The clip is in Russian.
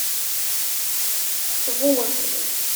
вумен